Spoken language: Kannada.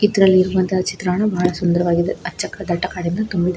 ಇದ್ರಲ್ಲಿ ಇರುವಂತ ಚಿತ್ರಣ ಬಹಳ ಸುಂದರವಾಗಿದೆ ಅಚ್ಚಕ ದಟ್ಟ ಕಾಡಿನ ತುಂಬಿದೆ.